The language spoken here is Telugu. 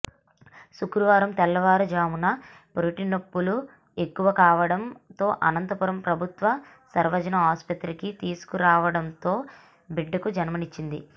శుక్రవారం తెల్లవారుజామున పురిటినొప్పులు ఎక్కువ కావడంతో అనంతపురం ప్రభుత్వ సర్వజన ఆసుపత్రికి తీసుకురావడంతో బిడ్డకు జన్మనిచ్చింది